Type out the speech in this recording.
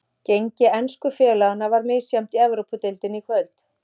Gengi ensku félaganna var misjafnt í Evrópudeildinni í kvöld.